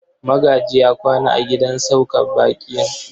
Magaji ya kwana a gidan sauka baƙin.